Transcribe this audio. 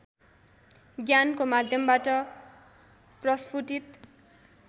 ज्ञानको माध्यमबाट प्रष्फुटित